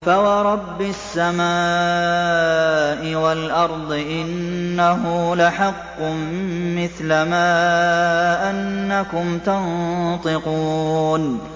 فَوَرَبِّ السَّمَاءِ وَالْأَرْضِ إِنَّهُ لَحَقٌّ مِّثْلَ مَا أَنَّكُمْ تَنطِقُونَ